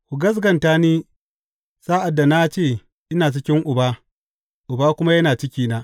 Ku gaskata ni sa’ad da na ce ina cikin Uba, Uba kuma yana cikina.